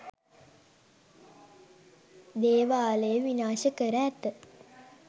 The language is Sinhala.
දේවාලය විනාශ කර ඇත